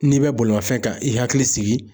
N'i bɛ bolimafɛn kan i hakili sigi